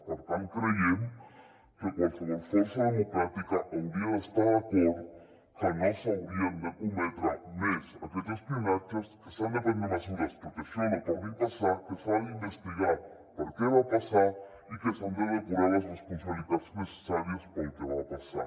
per tant creiem que qualsevol força democràtica hauria d’estar d’acord que no s’haurien de cometre més aquests espionatges que s’han de prendre mesures perquè això no torni a passar que s’ha d’investigar per què va passar i que s’han de depurar les responsabilitats necessàries pel que va passar